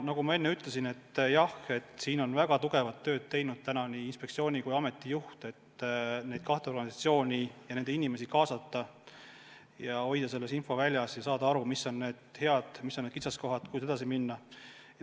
Nagu ma ütlesin, nii inspektsiooni kui ameti juht on väga tugevat tööd teinud, et nende kahe organisatsiooni inimesi kaasata ja hoida neid infoväljas, et saadaks aru, mis on ühendamise plussid ja mis on kitsaskohad, kuidas kavatsetakse edasi minna.